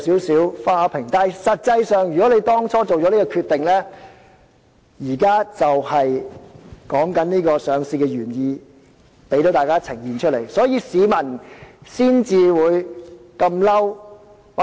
實際上，政府當初作出這個決定時，上市原意已定，只是現在才呈現在市民眼前，市民才感到憤怒。